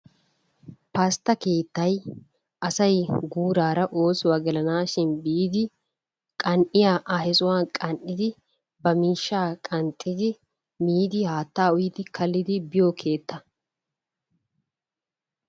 Pastta keettay asay guurara oosuwaa gelanashshi biidi qan'iyaa ha sohuwaani qan'idi ba miishshaa qanxiddi miidi haattaa uyidi kaliddi biyoo keetta.